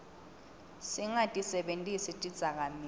singatisebentisi tidzakamiva